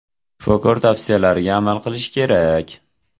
Shifokor tavsiyalariga amal qilish kerak.